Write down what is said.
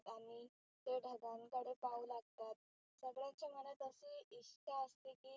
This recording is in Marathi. ते ढगांकडे पाहू लागतात. सगळ्यांच्या मनात इच्छा असते.